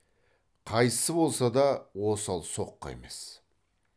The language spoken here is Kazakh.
қайсысы болса да осал соққы емес